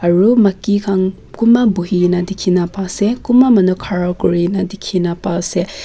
aru maki khan kunba buhi kena dikhina pai ase kunba manu khara kuri nah dikhina pai ase--